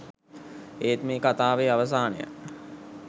ඒත් මේ කතාවේ අවසානය